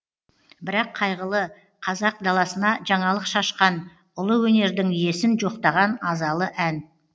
бірақ қайғылы қазақ даласына жаңалық шашқан ұлы өнердің иесін жоқтаған азалы ән